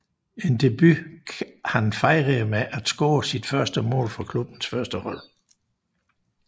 En debut han fejrede med at score sit første mål for klubbens førstehold